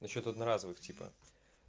насчёт одноразовых типа